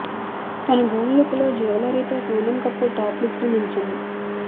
తన gold look లో jewellery తో సోనమ్ కపూర్ టాప్ లిస్ట్ లో నిలిచింది